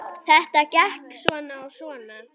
Þetta gekk svona og svona.